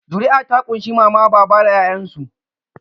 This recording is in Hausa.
Zuri'a ta ƙunshi Mama baba da 'ya'yansu.